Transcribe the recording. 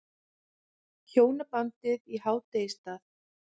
Hjónabandið í hádegisstað.